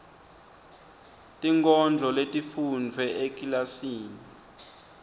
tinkondlo letifundvwe ekilasini